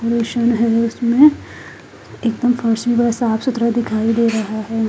Machine हैं उसमें एकदम फर्श भी साफ सुथरा दिखाई दे रहा है।